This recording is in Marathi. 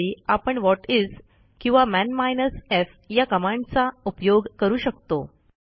त्यावेळी आपण व्हॉटिस किंवा मन माइनस एफ या कमांडचा उपयोग करू शकतो